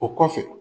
O kɔfɛ